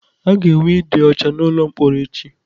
A ga-enwe ịdị ọcha n'ụlọ mkpọrọ echi.